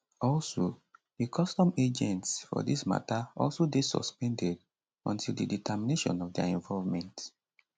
also di custom agents for dis mata also dey suspended until di determination of dia involvement